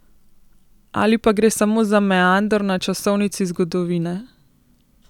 Ali pa gre samo za meander na časovnici zgodovine?